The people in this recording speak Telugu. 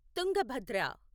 తుంగభద్ర